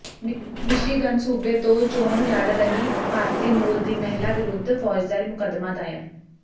Michigan ਸੂਬੇ ਤੋਂ ਚੋਣ ਲੜ ਰਹੀ ਭਾਰਤੀ ਮੂਲ ਦੀ ਮਹਿਲਾ ਵਿਰੁੱਧ ਫੌਜਦਾਰੀ ਮੁਕੱਦਮਾ ਦਾਇਰ